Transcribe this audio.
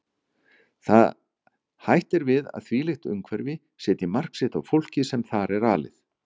Hætt er við að þvílíkt umhverfi setji mark sitt á fólkið sem þar er alið.